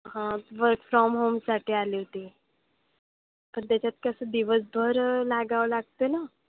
हां work from home साठी आली होती. पण त्याच्यात कसं दिवसभर लागावं लागतंय ना.